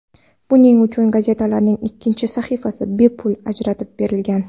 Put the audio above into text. Buning uchun gazetalarning ikkinchi sahifasi bepul ajratib berilgan.